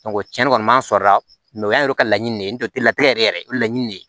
cɛnni kɔni m'an sɔrɔ a la mɛ o y'an yɛrɛ ka laɲini de ye n tɛ latigɛ yɛrɛ yɛrɛ o ye laɲini de ye